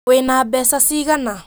Wĩ na mbeca cigana?